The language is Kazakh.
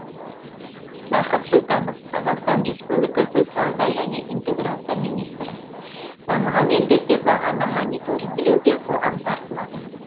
бақыт сұлтанов қазақстан республикасы сауда және интеграция министрі дамыған елдерде бағаны мониторингілеуге қоғам тартылады